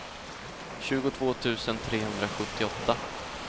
tjugotvå tusen trehundrasjuttioåtta